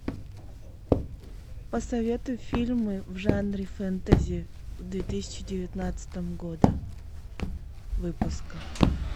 посоветуй фильмы в жанре фэнтези две тысячи девятнадцатого года выпуска